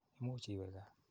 Imuch iwe kaa.